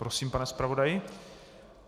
Prosím, pane zpravodaji.